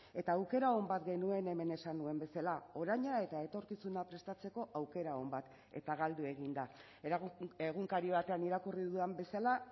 eta aukera on bat genuen hemen esan nuen bezala oraina eta etorkizuna prestatzeko aukera on bat eta galdu egin da egunkari batean irakurri dudan bezala